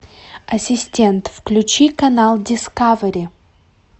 ассистент включи канал дискавери